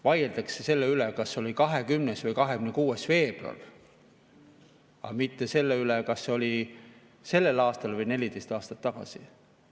Vaieldakse selle üle, kas see oli 20. või 26. veebruar, aga mitte selle üle, kas see oli sellel aastal või aastat tagasi.